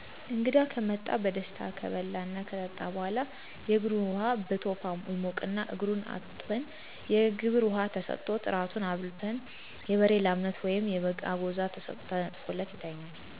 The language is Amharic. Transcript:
እንግዳ ከመጣ በደስታ ከበላና ከጠጣ በኋላ :የእግር ዉሃ በቶፋ ይሞቅና እግሩን አስታጥበን የግብር ውሃ ተሠጥቶት። ራቱን አብልተን የበሬ ላምነት ወይም የበግ አጎዛ ተነጥፎ ይተኛል።